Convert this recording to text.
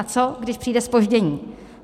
A co když přijde zpoždění?